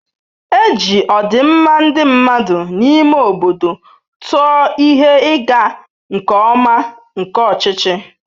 E ji ọdịmma ndị mmadụ n'ime obodo tụọ ihe ịga nke ọma nke ọchịchị.